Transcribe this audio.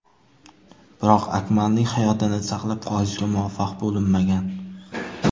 Biroq Akmalning hayotini saqlab qolishga muvaffaq bo‘linmagan.